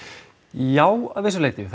já að vissu leyti